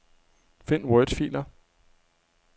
Find wordfiler.